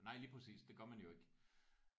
Nej lige præcis. Det gør man jo ikke